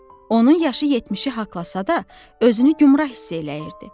Onun yaşı 70-i haqlasa da, özünü gümrah hiss eləyirdi.